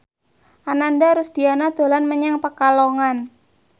Ananda Rusdiana dolan menyang Pekalongan